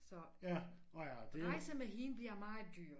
Så rejse med hende blive meget dyr